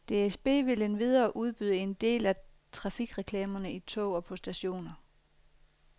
DSB vil endvidere udbyde en del af trafikreklamerne i tog og på stationer.